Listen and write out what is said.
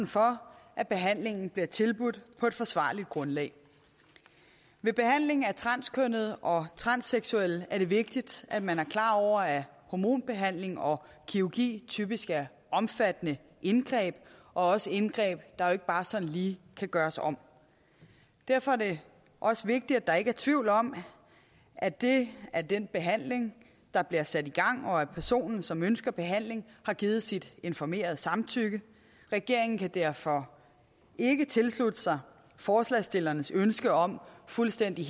for at behandlingen bliver tilbudt på et forsvarligt grundlag ved behandling af transkønnede og transseksuelle er det vigtigt at man er klar over at hormonbehandling og kirurgi typisk er omfattende indgreb og også indgreb der ikke bare sådan lige kan gøres om derfor er det også vigtigt at der ikke er tvivl om at det er den behandling der bliver sat i gang og at personen som ønsker behandling har givet sit informerede samtykke regeringen kan derfor ikke tilslutte sig forslagsstillernes ønske om fuldstændig